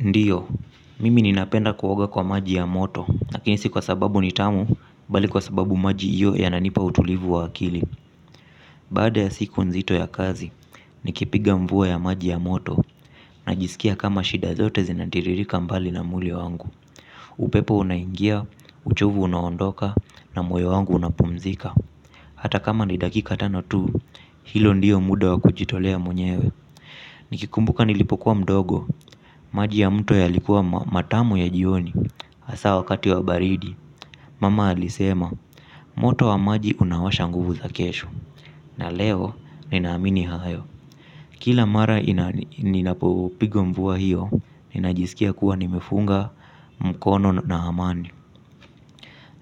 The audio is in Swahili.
Ndiyo, mimi ninapenda kuoga kwa maji ya moto, nakini si kwa sababu nitamu, bali kwa sababu maji iyo yananipa utulivu wa akili. Baada ya siku nzito ya kazi, nikipiga mvuwa ya maji ya moto, najisikia kama shida zote zinatiririka mbali na muli wangu. Upepo unangia, uchovu unaondoka, na mwoyo wangu unapumzika. Hata kama ni dakika tano tu, hilo ndiyo muda wa kujitolea mwenyewe. Nikikumbuka nilipokuwa mdogo, maji ya mto ya likuwa matamu ya jioni, asa wakati wa baridi Mama alisema, moto wa maji unawasha nguvu za kesho, na leo ninaamini hayo. Kila mara ninapopiga mvua hiyo, ninajisikia kuwa nimefunga mkono na amani.